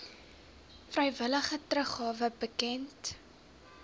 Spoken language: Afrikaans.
vrywillige teruggawe bekend